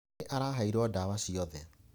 Nĩ araheirwo ndawa ciothe.